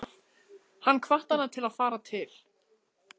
Hann hvatti hana til að fara til